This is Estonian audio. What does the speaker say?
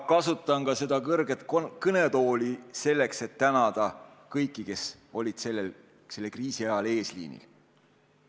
Ma kasutan seda kõrget kõnetooli ka selleks, et tänada kõiki, kes olid selle kriisi ajal eesliinil.